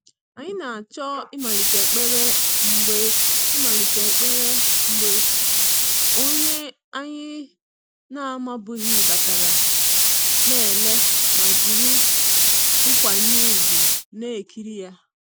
Anyị na-achọ ịmalite ekpere mgbe ịmalite ekpere mgbe onye anyị na-amabughị batara, na ele ma jiri nkwanye ùgwù na-ekiri ya.